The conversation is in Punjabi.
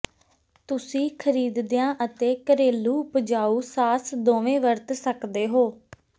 ਤੁਸੀਂ ਖਰੀਦਿਆ ਅਤੇ ਘਰੇਲੂ ਉਪਜਾਊ ਸਾਸ ਦੋਵੇਂ ਵਰਤ ਸਕਦੇ ਹੋ